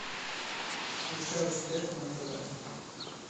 включай успех на тв